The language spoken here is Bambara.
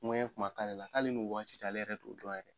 Ŋɛɲɛ kuma k'ale la k'ale ni o waati cɛ ale yɛrɛ t'o dɔn yɛrɛ.